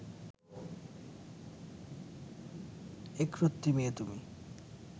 একরত্তি মেয়ে তুমি